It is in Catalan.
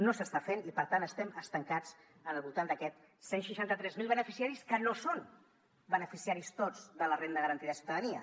no s’està fent i per tant estem estancats en el voltant d’aquests cent i seixanta tres mil beneficiaris que no són beneficiaris tots de la renda garantida de ciutadania